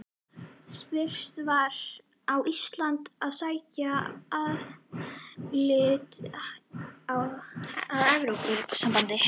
Spurt var: Á Ísland að sækja um aðild að Evrópusambandinu?